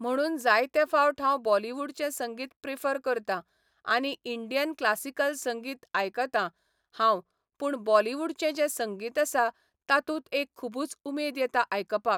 म्हणून जायते फावट हांव बॉलीवुडचें संगीत प्रिफर करता आनी इंडियन क्लासिकल संगीत आयकता हांव पूण बॉलीवुडचें जें संगीत आसा तातूंत एक खुबूच उमेद येता आयकपाक.